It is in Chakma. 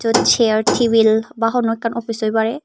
chair tebil ba hono ekan office oi pare.